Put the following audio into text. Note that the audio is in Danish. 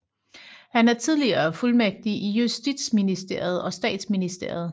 Han er tidligere fuldmægtig i justitsministeriet og statsministeriet